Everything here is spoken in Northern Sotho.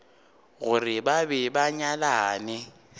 gore ba be ba nyalane